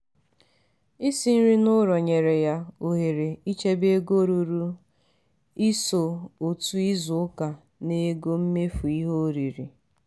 isi nri n'ụlọ nyere ya ohere ichebe ego ruru & iso otu izu ụka n'ego mmefu ihe oriri.